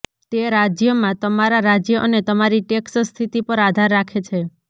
તે રાજ્યમાં તમારા રાજ્ય અને તમારી ટેક્સ સ્થિતિ પર આધાર રાખે છે